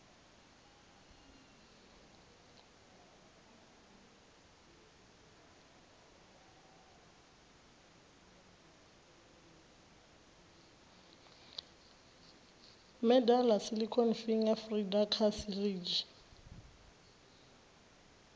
medela silicone finger feeder kha sirinzhi